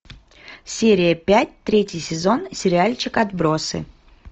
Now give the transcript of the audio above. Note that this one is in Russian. серия пять третий сезон сериальчик отбросы